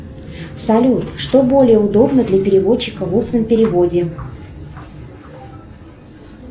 салют что более удобно для переводчика в устном переводе